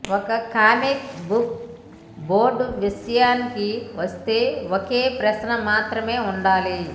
ఒక comic book board విషయానికి వస్తే ఒకే ప్రశ్న మాత్రమే ఉండాలి